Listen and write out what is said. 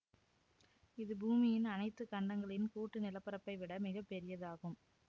இது பூமியின் அனைத்து கண்டங்களின் கூட்டு நிலப்பரப்பை விட மிக பெரியதாகும்